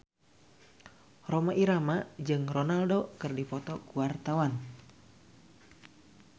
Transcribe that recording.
Rhoma Irama jeung Ronaldo keur dipoto ku wartawan